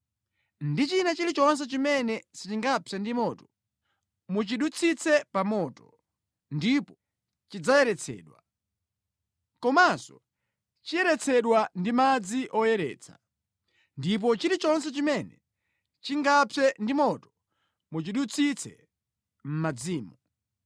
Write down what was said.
ndi china chilichonse chimene sichingapse ndi moto muchidutsitse pa moto, ndipo chidzayeretsedwa. Komanso chiyeretsedwe ndi madzi oyeretsa. Ndipo chilichonse chimene chingapse ndi moto muchidutsitse mʼmadzimo.